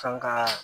Kan ka